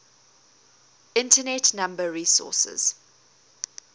internet number resources